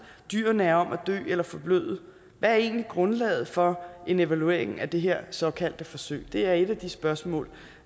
dyrene er om at dø eller forbløde hvad er egentlig grundlaget for en evaluering af det her såkaldte forsøg det er et af de spørgsmål